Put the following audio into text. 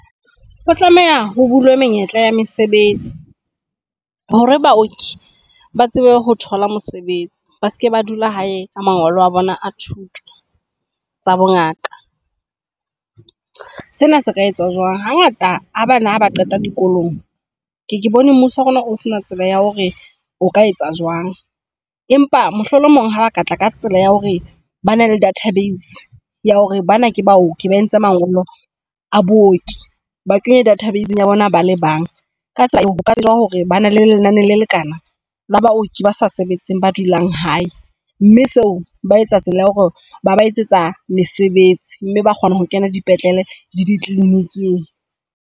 Ho tlameha ho bulwe menyetla ya mesebetsi hore baoki ba tsebe ho thola mosebetsi ba seke ba dula hae ka mangolo a bona a thuto tsa bongaka. Sena se ka etswa jwang? Ha ngata ha bana ba qeta dikolong ke e ke bone mmuso wa rona o sena tsela ya hore o ka etsa jwang. Empa mohlomong ha ba katla ka tsela ya hore bana le database ya hore bana bao ba entse mangolo a booki, ba kenya database ya bona bale bang. Ka tsa ho hoka bana le lenane le lekana la baoki ba sa sebetseng, ba dulang hae mme seo ba etsa stela ya hore ba ba etsetsa mesebetsi mme ba kgona ho kena dipetlele dikliniking.